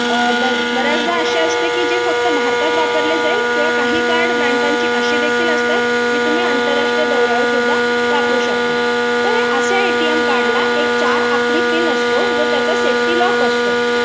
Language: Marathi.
बऱ्याचदा असं असते की फक्त भारतात वापरले जाईल किंवा काही कार्ड बँकेची अशीही देखील असतात जे तुम्ही आंतरराष्ट्रीय दौऱ्यावर सुद्धा वापरू शकता तर हे असे एटीएम काढला एक चार आकडी पिन असतो जो त्याला सेफ्टी लॉक असतो